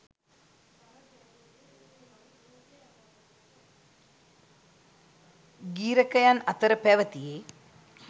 ගී්‍රකයන් අතර පැවැතියේ